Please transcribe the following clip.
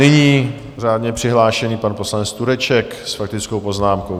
Nyní řádně přihlášený pan poslanec Tureček s faktickou poznámkou.